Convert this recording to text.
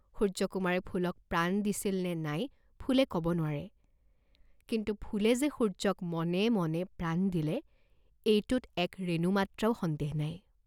সূৰ্য্যকুমাৰে ফুলক প্ৰাণ দিছিল নে নাই ফুলে কব নোৱাৰে, কিন্তু ফুলে যে সূৰ্য্যক মনে মনে প্ৰাণ দিলে, এইটোত এক ৰেণুমাত্ৰাও সন্দেহ নাই।